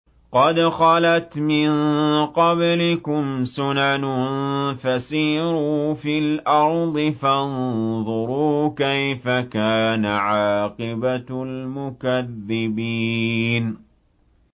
قَدْ خَلَتْ مِن قَبْلِكُمْ سُنَنٌ فَسِيرُوا فِي الْأَرْضِ فَانظُرُوا كَيْفَ كَانَ عَاقِبَةُ الْمُكَذِّبِينَ